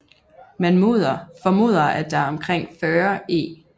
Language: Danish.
Man formoder at der omkring 40 e